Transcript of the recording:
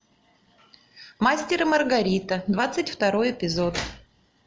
мастер и маргарита двадцать второй эпизод